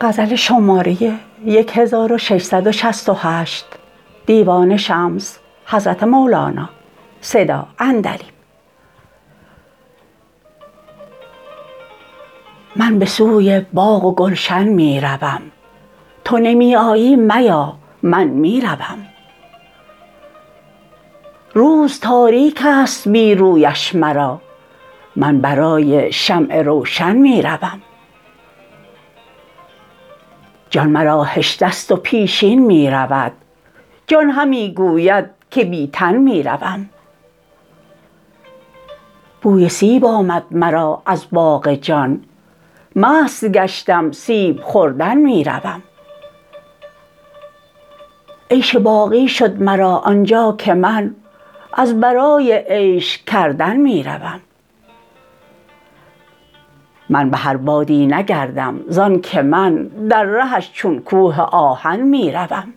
من به سوی باغ و گلشن می روم تو نمی آیی میا من می روم روز تاریک است بی رویش مرا من برای شمع روشن می روم جان مرا هشته ست و پیشین می رود جان همی گوید که بی تن می روم بوی سیب آمد مرا از باغ جان مست گشتم سیب خوردن می روم عیش باقی شد مرا آن جا که من از برای عیش کردن می روم من به هر بادی نگردم زانک من در رهش چون کوه آهن می روم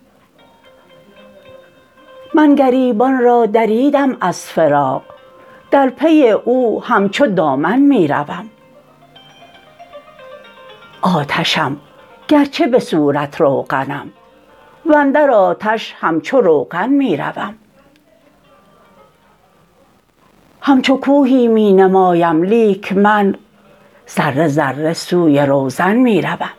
من گریبان را دریدم از فراق در پی او همچو دامن می روم آتشم گرچه به صورت روغنم و اندر آتش همچو روغن می روم همچو کوهی می نمایم لیک من ذره ذره سوی روزن می روم